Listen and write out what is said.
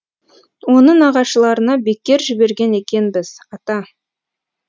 оны нағашыларына бекер жіберген екенбіз ата